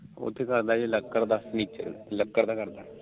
ਉਥੇ ਉਹ ਕਰਦਾ ਲੱਕੜ ਦਾ ਲੱਕੜ ਦਾ ਕਰਦਾ